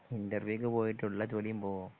ഇന്റർവ്യൂക്കു പോയിട്ട് ഉള്ള ജോലിയും പോകുവോ